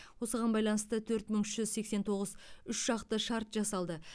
осыған байланысты төрт мың үш жүз сексен тоғыз үшжақты шарт жасалды